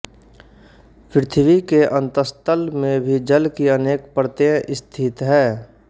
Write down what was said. पृथ्वी के अंतस्तल में भी जल की अनेक परतें स्थित हैं